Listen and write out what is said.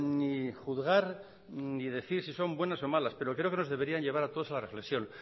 ni juzgar ni decir si son buenas o malas pero creo que nos deberían de llevar a todos a la reflexión